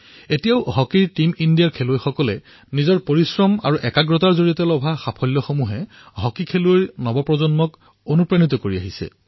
আজিও টীম ইণ্ডিয়াৰ খেলুৱৈসকলে নিজৰ পৰিশ্ৰম আৰু সাধনাৰ জৰিয়তে পোৱা সাফল্যসমূহৰ দ্বাৰা হকীৰ নতুন প্ৰজন্মক উৎসাহিত কৰি আহিছে